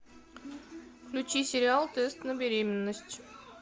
включи сериал тест на беременность